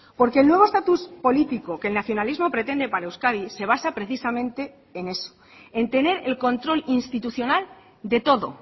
porque el nuevo estatus político que el nacionalismo pretende para euskadi se basa precisamente en eso en tener el control institucional de todo